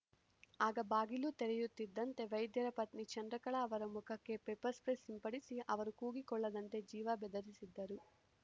ಆಗ ಬಾಗಿಲು ತೆರೆಯುತ್ತಿದ್ದಂತೆ ವೈದ್ಯರ ಪತ್ನಿ ಚಂದ್ರಕಲಾ ಅವರ ಮುಖಕ್ಕೆ ಪೆಪ್ಪರ್‌ ಸ್ಪ್ರೇ ಸಿಂಪಡಿಸಿ ಅವರು ಕೂಗಿಕೊಳ್ಳದಂತೆ ಜೀವ ಬೆದರಿಸಿದ್ದರು